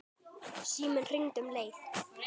Síminn hringdi um leið.